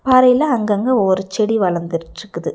பாறைல அங்கங்க ஒவ்வொரு செடி வளர்ந்துச்சிட்டுருக்குது.